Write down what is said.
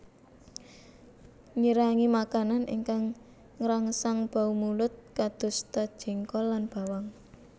Ngirangi makanan ingkang ngrangsang bau mulut kadosta jengkol lan bawang